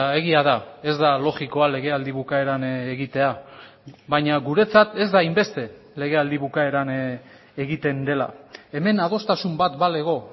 egia da ez da logikoa legealdi bukaeran egitea baina guretzat ez da hainbeste legealdi bukaeran egiten dela hemen adostasun bat balego